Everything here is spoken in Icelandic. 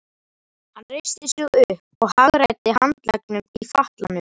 Hann reisti sig upp og hagræddi handleggnum í fatlanum.